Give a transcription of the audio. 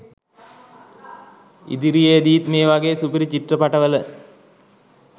ඉදිරියේදිත් මේ වගේ සුපිරි චිත්‍රපට වල